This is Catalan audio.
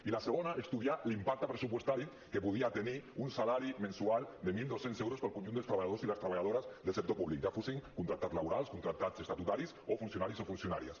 i la segona estudiar l’impacte pressupostari que podia tenir un salari mensual de mil dos cents euros per al conjunt dels treballadors i les treballadores del sector públic ja fossin contractats laborals contractats estatutaris o funcionaris o funcionàries